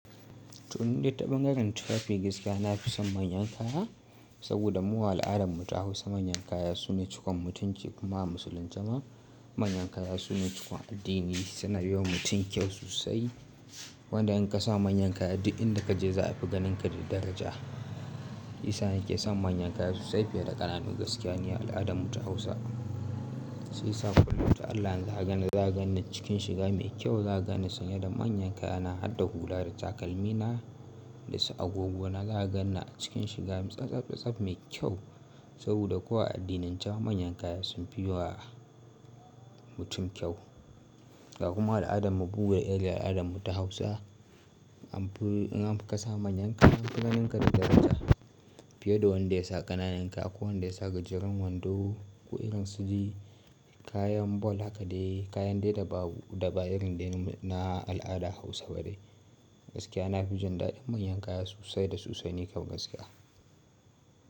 Toh nide ta bangaren tufafi gaskiya na fi son manyan kaya, saboda mu wa al'adarmu ta Hausa manyan kaya sune cukon mutunci kuma a musulunci ma manyan kaya sune cukon addini. Suna yi wa mutum kyau sosai. Wanda in ka sa manyan kaya, duk inda ka je za a fi ganinka da daraja. Isa yake san manyan kaya sosai fiye da ƙananu gaskiya ni a al'adarmu ta Hausa. Shiyasa kullum ta Allah in zakaganni, zakaganni cikin shiga mai kyau, zaka ganni sanye da manyan kaya na harda hula da takalmi na da su agogo na zaka ganni cikin shiga tsaftsaftsaf mai kyau. Saboda ko a addinance ma manyan kaya sun fi yi wa mutum kyau. Ga kuma al'adarmu bugu da irin al'adarmu ta Hausa. An fi in an fi ka sa manyan kaya an fi ganinka diddaraja fiye da wanda ya sa ƙananan kaya ko wanda ya sa gajeren wando ko irin sude kayan bol haka dai kayan dai da babu da ba irin dai na al'ada Hausa ba ne. Gaskiya na fi jin daɗin manyan kaya sosai da sosai, ni kam gaskiya.